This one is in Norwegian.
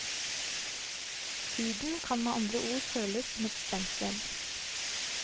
Huden kan med andre ord føles som et stengsel.